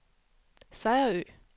Sejerø